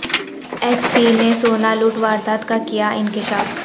S P نے سونا لوٹ واردات کا کیا انکشاف